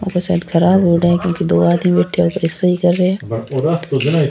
शायद ख़राब हो रहा है क्युकि दो आदमी बैठिया है सही कर रहा है।